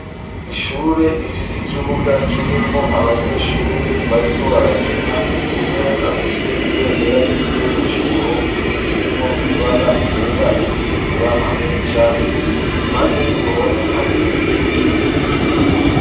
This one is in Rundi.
ishure rifise ikibuga k'irimwo abanyeshure bariko barakina , umwe afise ibendera ry'igihugu c'uburundi ririmwo ibara ryera , iritukura hamwe n'ishasi, impande y'uruhome hateye igiti kinini.